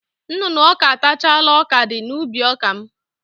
Nnụnụ ọka atachala ọkadị n'ubi ọka m.